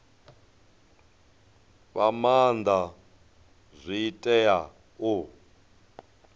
fha maanda zwi tea u